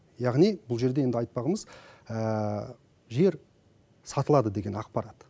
яғни бұл жерде енді айтпағымыз жер сатылады деген ақпарат